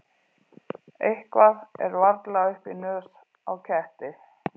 Eitthvað er varla upp í nös á ketti